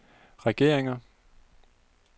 regeringer